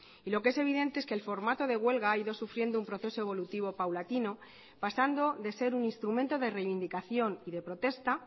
y lo que es evidente es que el formato de huelga ha ido sufriendo un proceso evolutivo paulatino pasando de ser un instrumento de reivindicación y de protesta